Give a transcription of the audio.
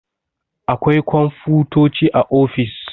Akwai komfutoci a ofis